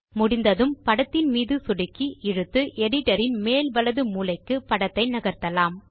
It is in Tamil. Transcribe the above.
முடிந்ததும் படத்தின் மீது சொடுக்கி இழுத்து எடிட்டர் இன் மேல் வலது மூலைக்கு படத்தை நகர்த்தலாம்